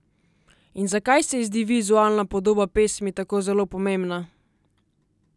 In zakaj se ji zdi vizualna podoba pesmi tako zelo pomembna?